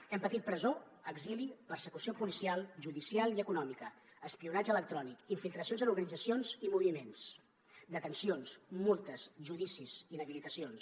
hem patit presó exili persecució policial judicial i econòmica espionatge electrònic infiltracions en organitzacions i moviments detencions multes judicis inhabilitacions